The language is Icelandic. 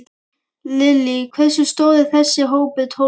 Lillý: Hversu stór er þessi hópur, Tólfan?